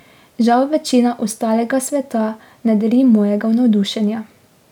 Žal večina ostalega sveta ne deli mojega navdušenja.